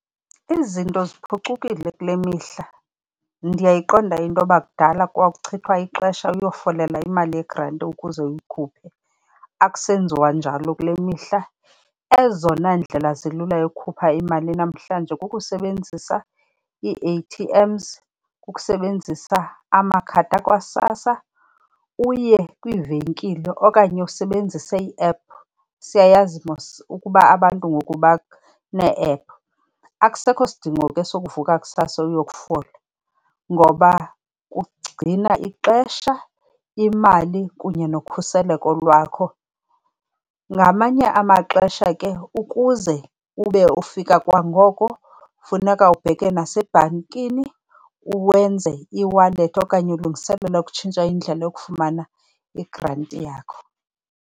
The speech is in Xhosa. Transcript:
Izinto ziphucukile kule mihla. Ndiyayiqonda into yoba kudala kwakuchithwa ixesha uyofolela imali yegranti ukuze uyikhuphe, akusenziwa njalo kule mihla. Ezona ndlela zilula yokukhupha imali namhlanje kukusebenzisa ii-A_T_Ms, kukusebenzisa amakhadi akwaSASSA, uye kwiivenkile okanye usebenzise ii-app. Siyayazi mos ukuba abantu ngoku banee-app. Akusekho sidingo ke sokuvuka kusasa uyokufola ngoba kugcina ixesha, imali kunye nokhuseleko lwakho. Ngamanye amaxesha ke ukuze ube ufika kwangoko, funeka ubheke nasebhankini uwenze ieWallet okanye ulungiselela ukutshintsha indlela yokufumana igranti yakho.